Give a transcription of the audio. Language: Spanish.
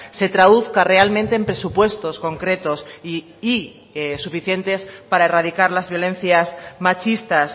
se traduzca realmente en presupuestos concretos y suficientes para erradicar las violencias machistas